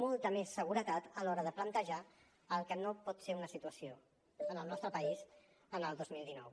molta més seguretat a l’hora de plantejar el que no pot ser una situació en el nostre país en el dos mil dinou